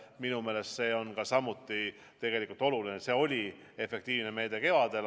Minu meelest on see samuti oluline, see oli efektiivne meede kevadel.